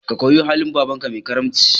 Ka koyi halin babanka mai karamci